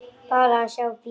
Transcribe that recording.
Bara að sjá bílinn.